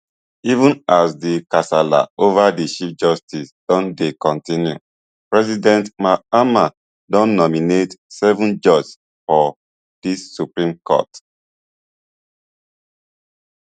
even as di kasala ova di chief justice don dey kontinupresident mahama don nominate seven judges for di supreme court